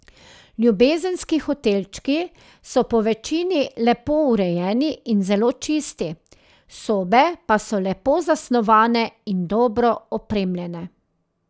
Ljubezenski hotelčki so po večini lepo urejeni in zelo čisti, sobe pa so lepo zasnovane in dobro opremljene.